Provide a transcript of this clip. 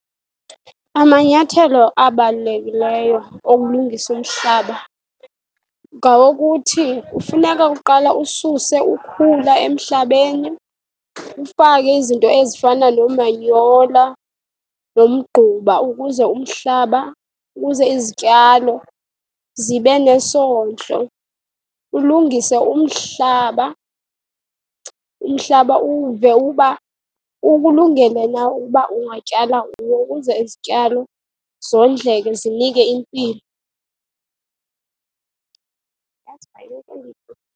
Amanyathelo abalulekileyo okulungisa umhlaba ngawokuthi kufuneka kuqala ususe ukhula emhlabeni, ufake izinto ezifana noomanyola nomgquba ukuze umhlaba, ukuze izityalo zibe nesondlo. Ulungise umhlaba, umhlaba uwuve ukuba ukulungele na ukuba ungatyala kuwo ukuze izityalo zondleke zinike impilo.